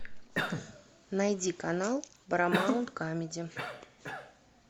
найди канал парамаунт камеди